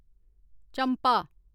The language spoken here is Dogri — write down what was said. चम्पा